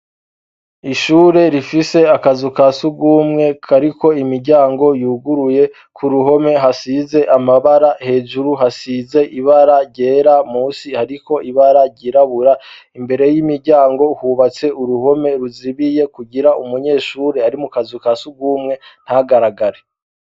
Ishure rifise akazu ka sugumwe kariko imiryango yuguruye ku ruhome hasize amabara hejuru hasize ibara ryera musi hariko ibara ryirabura imbere y'imiryango hubatse uruhome ruzibiye kugira umunyeshure ari mu kazu ka sugumwe ntagaragare.